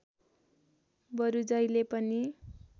बरु जहिले पनि